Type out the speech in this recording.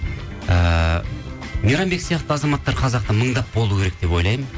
ыыы мейрамбек сияқты азаматтар қазақта мыңдап болу керек деп ойлаймын